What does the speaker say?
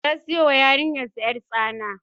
Ya sayo wa yarinyarsa ƴartsana